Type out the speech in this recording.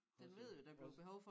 Også også